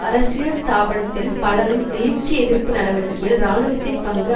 அரசியல் ஸ்தாபனத்தில் பலரும் எழுச்சி எதிர்ப்பு நடவடிக்கையில் இராணுவத்தின் பங்கு